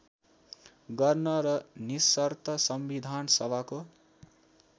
गर्न र निशर्त संविधानसभाको